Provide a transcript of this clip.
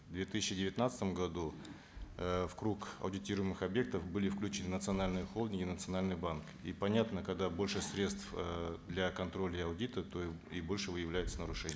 в две тысячи девятнадцатом году э в круг аудитируемых объектов были включены национальные холдинги национальные банки и понятно когда больше средств э для контроля и аудита то и больше выявляется нарушений